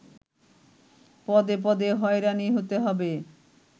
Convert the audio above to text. পদে পদে হয়রানি হতে হবে